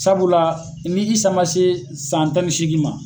Sabula ni i san man se san tan ni seegin ma